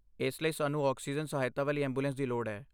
ਇਸ ਲਈ, ਸਾਨੂੰ ਆਕਸੀਜਨ ਸਹਾਇਤਾ ਵਾਲੀ ਐਂਬੂਲੈਂਸ ਦੀ ਲੋੜ ਹੈ।